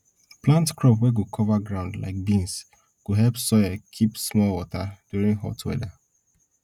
plant crop wey go cover ground like beans go help soil keep small water during hot weather